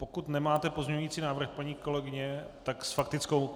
Pokud nemáte pozměňovací návrh, paní kolegyně, tak s faktickou.